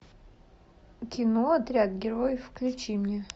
кино отряд героев включи мне